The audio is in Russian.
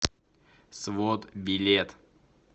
свод билет